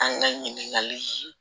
An ka ɲininkali